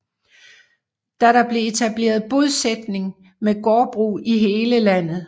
Da blev der etableret bosætning med gårdbrug i hele landet